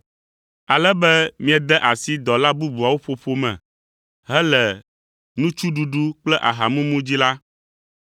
ale be miede asi dɔla bubuawo ƒoƒo me hele nutsuɖuɖu kple ahamumu dzi la,